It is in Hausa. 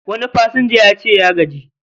Wani pasanja yace ya gaji